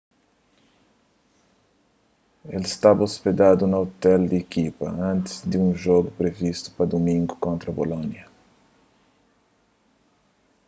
el staba ôspedadu na ôtel di ekipa antis di un jogu privistu pa dumingu kontra bolonia